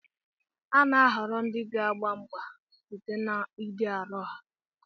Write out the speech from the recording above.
A na-ahọrọ ndị ga-agba mgba site n'ịdị arọ ha